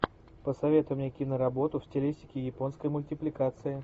посоветуй мне киноработу в стилистике японской мультипликации